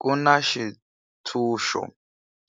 Ku na xitshunxo